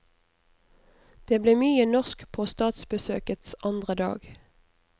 Det ble mye norsk på statsbesøkets andre dag.